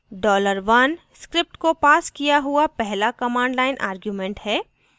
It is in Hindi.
$1 script को passed किया हुआ पहला command line argument है